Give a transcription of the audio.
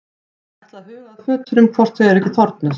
Ég ætla að huga að fötunum hvort þau eru ekki þornuð.